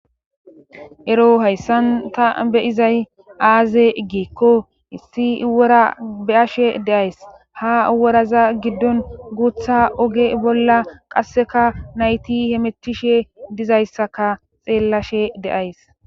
Ero hayssan ta be'izay aaze giikko issi wora beyashe de'ays ha woraza giddon guuththa oge bolla qasseka nayti hemetishe dizayssaka xeellashe de'ays